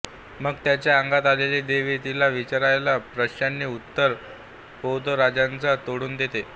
मग त्याच्या अंगात आलेली देवी तिला विचारलेल्या प्रश्नांची उत्तरे पोतराजाच्या तोंडून देते